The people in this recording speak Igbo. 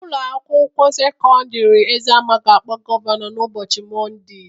Ụlọ akwụkwọ sekọndrị Eziama ga-akpọ gọvanọ n'ụbọchị Mọnde